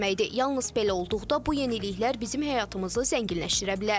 Yalnız belə olduqda bu yeniliklər bizim həyatımızı zənginləşdirə bilər.